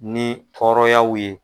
Ni tɔɔrɔyaw ye